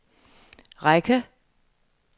række